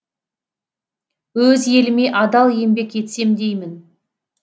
өз еліме адал еңбек етсем деймін